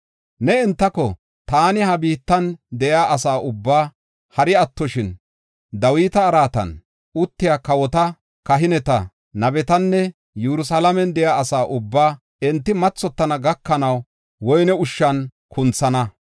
ne entako, ‘Taani ha biittan de7iya asa ubbaa, hari attoshin, Dawita araatan uttiya kawota, kahineta, nabetanne Yerusalaamen de7iya asa ubbaa, enti mathotana gakanaw woyne ushshan kunthana.